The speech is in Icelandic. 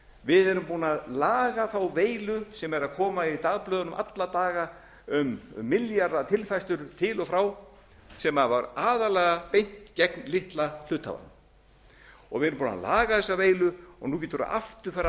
við erum búin að laga þá veilu sem er að koma í dagblöðunum alla daga um milljarða tilfærslur til og frá sem var aðallega beint gegn litla hluthafanum við erum búin að laga þessa veilu nú geturðu aftur farið að